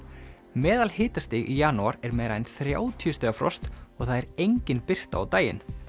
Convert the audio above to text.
meðalhitastig í janúar er meira en þrjátíu stiga frost og það er engin birta á daginn